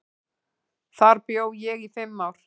Þar bjó ég í fimm ár.